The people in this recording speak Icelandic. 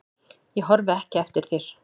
Ég horfi ekki eftir þér.